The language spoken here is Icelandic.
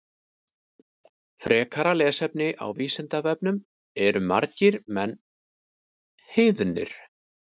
Frekara lesefni á Vísindavefnum Eru margir menn heiðnir?